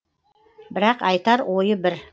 бірақ айтар ойы бір